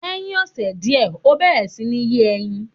Lẹ́hiń ọ̀sè diẹ̀, ọ bẹẹ̀rẹ̀ si ní yé ẹyin